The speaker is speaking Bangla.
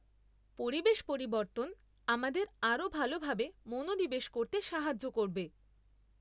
পরিবেশ পরিবর্তন আমাদের আরও ভালোভাবে মনোনিবেশ করতে সাহায্য করবে।